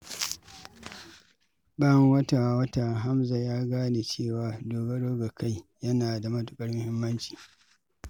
Bayan wata-wata, Hamza ya gane cewa dogaro da kai yana da matuƙar muhimmanci.